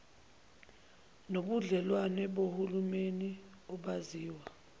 nobudlelwane bohulumeni obaziwa